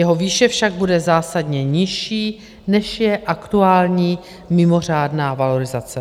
Jeho výše však bude zásadně nižší, než je aktuální mimořádná valorizace.